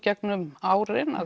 gegnum árin